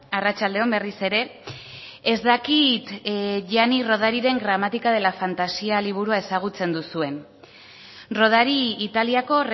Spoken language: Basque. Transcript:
arratsalde on berriz ere ez dakit gianni rodariren gramática de la fantasía liburua ezagutzen duzuen rodari italiako